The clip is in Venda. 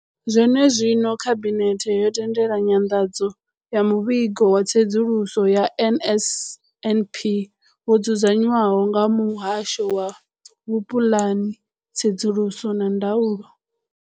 Zwenezwino, khabinethe yo tendela nyanḓadzo ya muvhigo wa tsedzuluso ya NSNP wo dzudzanywaho nga muhasho wa vhupuḽani, tsedzuluso na ndaulo.